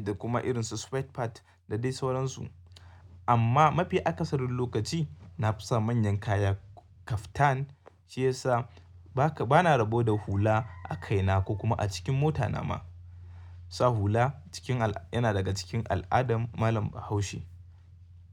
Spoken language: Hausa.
da kuma irin su sweat pant da dai sauransu. Amma mafi akasarin lokaci na fi sa manyan kaya, kaftan, shiyasa ba na rabo da hula a kaina ko kuma a cikin mota na ma. Sa hula na daga cikin al'ada yana daga cikin al'adan malam Bahaushe.